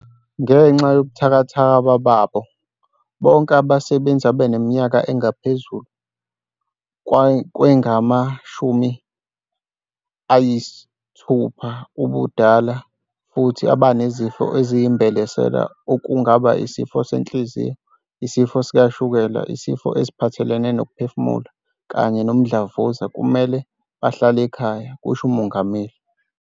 "Ngenxa yobuthakathaka babo, bonke abasebenzi abaneminyaka engaphezulu kwengama-60 ubudala futhi abanezifo eziyimbelesela okungaba isifo senhliziyo, isifo sikashukela, izifo eziphathelene nokuphefumula kanye nomdlavuza kumele bahlale ekhaya," kusho uMongameli.